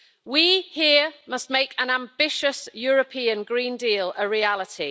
We here must make an ambitious European Green Deal a reality.